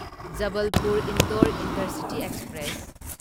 Jabalpur Indore intercity express